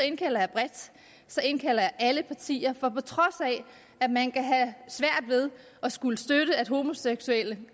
indkalder jeg bredt så indkalder jeg alle partier for på trods af at man kan have svært ved at skulle støtte at homoseksuelle